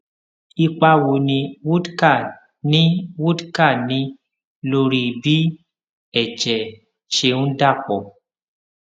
ipa wo ni wódká ní wódká ní lórí bí èjè ṣe ń dà pò